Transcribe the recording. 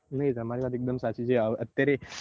નઈ તમારી એકદમ વાત સાચી છે અત્યારે